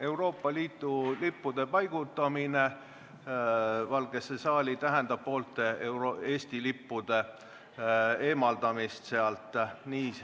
Euroopa Liidu lippude paigutamine Valgesse saali tähendab poolte Eesti lippude eemaldamist sealt.